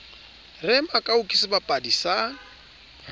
re makau ke sebapadi sa